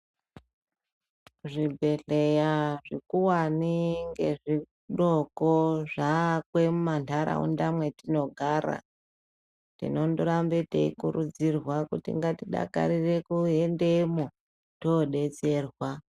Zvibhehleya zvikuwane nezvidoko zvave mumantaraunda mwetinogara. Tinondorambe teikurudzirwa kuti ngatidakarire kuendemo todetserwa.